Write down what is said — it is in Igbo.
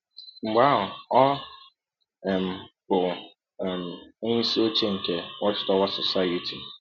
Mgbe ahụ ọ um bụ um onyeisi ọche nke Watch Tower Society.